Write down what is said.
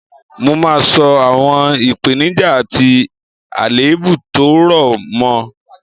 Mo máa sọ àwọn ìpeníjà àti àlèébù tó rọ̀ mọ